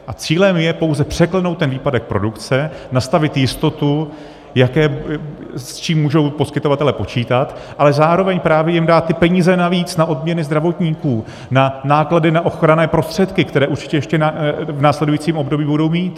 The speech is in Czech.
A cílem je pouze překlenout ten výpadek produkce, nastavit jistotu, s čím můžou poskytovatelé počítat, ale zároveň právě jim dát ty peníze navíc na odměny zdravotníků, na náklady na ochranné prostředky, které určitě ještě v následujícím období budou mít.